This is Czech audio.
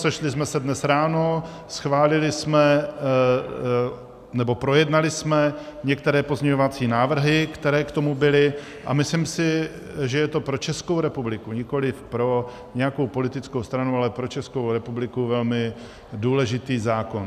Sešli jsme se dnes ráno, schválili jsme, nebo projednali jsme některé pozměňovací návrhy, které k tomu byly, a myslím si, že je to pro Českou republiku, nikoliv pro nějakou politickou stranu, ale pro Českou republiku velmi důležitý zákon.